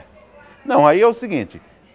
Não, aí é o seguinte.